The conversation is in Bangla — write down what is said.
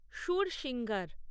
সুরসিঙ্গার